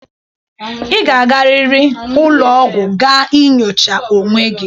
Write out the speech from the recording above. Ị ga-arịrị ụlọgwụ gaa nyochaa onwe gị!